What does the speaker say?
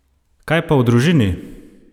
Kaj pa v družini?